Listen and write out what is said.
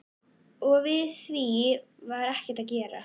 Og við því var ekkert að gera.